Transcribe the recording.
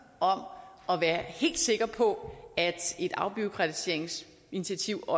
om at være helt sikker på at et afbureaukratiseringsinitiativ